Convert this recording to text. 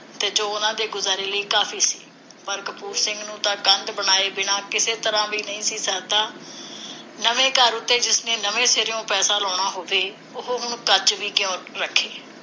ਤੇ ਜੋ ਉਹਨਾਂ ਦੇ ਗੁਜ਼ਾਰੇ ਲਈ ਕਾਫੀ ਸੀ। ਪਰ ਕਪੂਰ ਸਿੰਘ ਨੂੰ ਤਾਂ ਕੰਧ ਬਣਾਏ ਬਿਨਾਂ ਕਿਸੇ ਤਰ੍ਹਾਂ ਵੀ ਨਹੀਂ ਸਰਦਾ। ਨਵੇਂ ਘਰ ਉੱਤੇ ਜਿਸਨੇ ਨਵੇਂ ਸਿਰਿਓਂ ਪੈਸਾ ਲਾਉਣਾ ਹੋਵੇ, ਉਹ ਹੁਣ ਕੱਚ ਵੀ ਕਿਉਂ ਰੱਖੇ?